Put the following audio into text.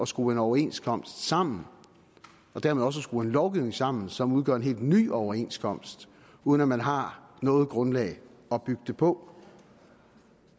skrue en overenskomst sammen og dermed også at skrue en lovgivning sammen som udgør en helt ny overenskomst uden man har noget grundlag at bygge det på